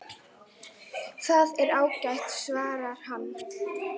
Það er ágætt svarar hann.